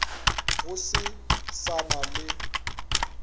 go se sa na le